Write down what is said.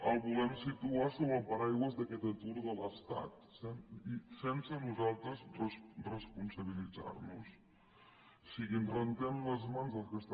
el volem situar sota el paraigua d’aquest atur de l’estat sense nosaltres responsabilitzar nos en o sigui que ens rentem les mans del que està